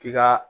K'i ka